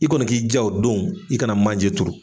I kɔni k'i ja o don i kana manje turu.